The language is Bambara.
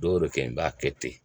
Dɔw bɛ kɛ i b'a kɛ ten